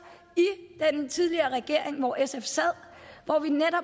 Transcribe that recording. i den tidligere regering hvor sf sad